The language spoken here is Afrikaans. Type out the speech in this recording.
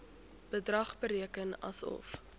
bedrag bereken asof